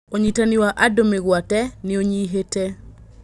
ũnyitani wa andũ mĩ gwate nĩ ũnyihĩ te.